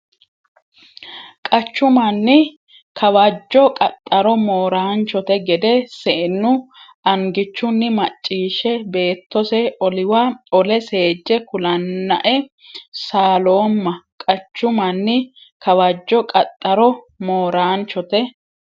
Qachu manni Kawajjo qaxxaro Mooraanchote gede seennu angichunni macciishshe beettose oliwa ole seejje kulannae saaloomma Qachu manni Kawajjo qaxxaro Mooraanchote.